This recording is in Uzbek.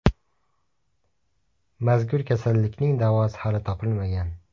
Mazkur kasallikning davosi hali topilmagan.